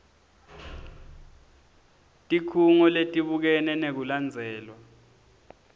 tikhungo letibukene nekulandzelwa